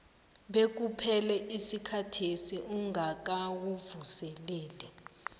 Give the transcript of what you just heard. bekuphele isikhathesi ungakawuvuseleli